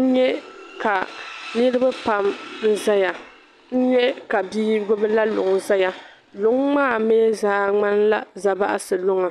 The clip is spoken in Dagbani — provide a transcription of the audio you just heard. N-nyɛ ka niribi pam nzaya. N-nyɛ ka bii gbibi la luŋ nzaya. Luŋ maa mi zaa ŋmanila Zabaɣisi luŋa.